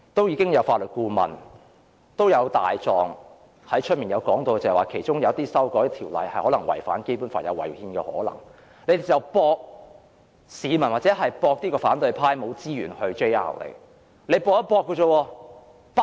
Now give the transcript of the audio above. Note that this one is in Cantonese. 已有法律顧問和外聘"大狀"說過，有些條文修訂可能會違反《基本法》，可能會違憲，但建制派賭反對派沒有資源提出司法覆核。